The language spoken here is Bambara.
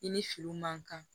I ni fini man kan